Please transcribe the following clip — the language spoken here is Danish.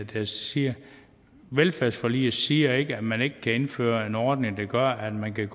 det siger velfærdsforliget siger ikke at man ikke kan indføre en ordning der gør at man kan